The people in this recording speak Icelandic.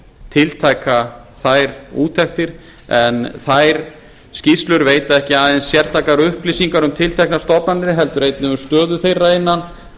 tiltaka þær úttektir en þær skýrslur veita ekki aðeins sértækar upplýsingar um tilteknar stofnanir heldur einnig um stöðu þeirra innan